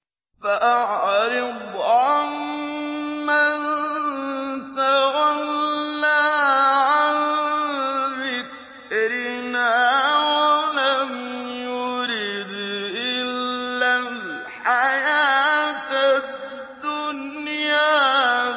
فَأَعْرِضْ عَن مَّن تَوَلَّىٰ عَن ذِكْرِنَا وَلَمْ يُرِدْ إِلَّا الْحَيَاةَ الدُّنْيَا